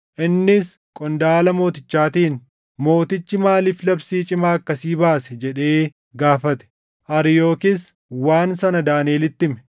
Innis qondaala mootichaatiin, “Mootichi maaliif labsii cimaa akkasii baase?” jedhee gaafate. Ariyookis waan sana Daaniʼelitti hime.